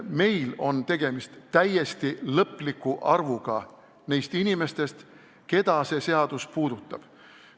Meil aga on tegemist täiesti lõpliku arvuga neist inimestest, keda see seadus puudutaks.